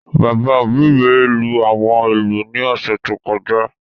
Bàbá òbí mi lú àwọn ìlú ní ọ̀sẹ̀ tó kọjá